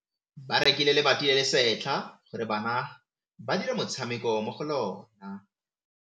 Ba rekile lebati le le setlha gore bana ba dire motshameko mo go lona.